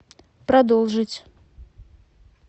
продолжить